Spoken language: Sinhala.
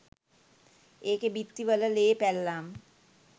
ඒකෙ බිත්ති වල ලේ පැල්ලම්